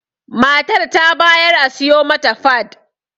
Matar ta bayar a siyo mata fad